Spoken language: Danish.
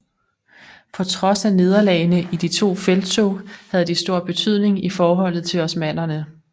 På trods af nederlagene i de to felttog havde de stor betydning i forholdet til osmannerne